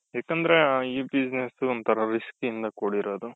ಯಾಕಂದ್ರೆ ಈ business ಒಂತರ risk ಇಂದ ಕೂಡಿರೋದು.